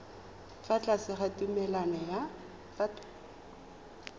fa tlase ga tumalano ya